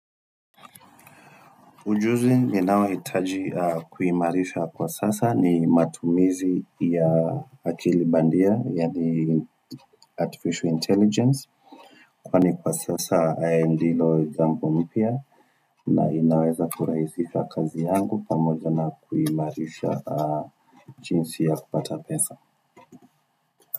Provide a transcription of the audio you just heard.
Ujuzi ninao hitaji kuimarisha kwa sasa ni matumizi ya akili bandia yani Artificial Intelligence kwani kwa sasa ya ndilo jambo mpya na inaweza kuraisisha kazi yangu pamoja na kuimarisha jinsi ya kupata pesa.